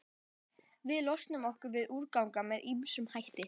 Við losum okkur við úrgang með ýmsum hætti.